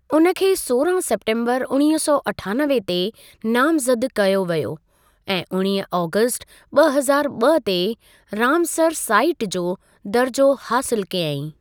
उन खें सोरहां सेप्टेम्बरु उणिवींह सौ अठानवे ते नामज़द कयो वियो ऐं उणिवींह आगस्टु ॿ हज़ारु ॿ ते रामसर साईट जो दर्जो हासिलु कयईं।